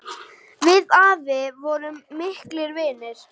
Við afi vorum miklir vinir.